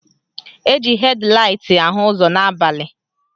Eji hed laịt ahụ ụzọ n'abalị.